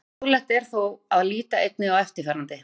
Fróðlegt er þó að líta einnig á eftirfarandi.